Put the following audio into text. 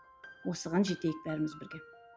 осыған жетейік бәріміз бірге